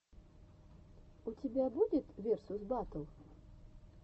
у тебя будет версус баттл